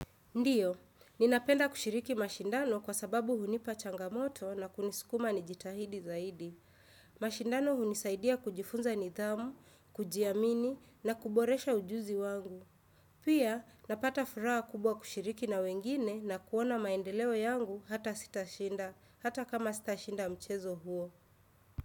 Ndiyo, ninapenda kushiriki mashindano kwa sababu hunipa changamoto na kunisikuma nijitahidi zaidi. Mashindano hunisaidia kujifunza nidhamu, kujiamini na kuboresha ujuzi wangu. Pia, napata furaha kubwa kushiriki na wengine na kuona maendeleo yangu hata sitashinda, hata kama sitashinda mchezo huo.